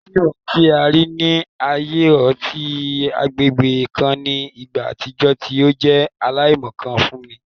Fiimu ti a rii ni aaye ọti agbegbe kan ni igba atijọ ti o jẹ alaimọkan fun mi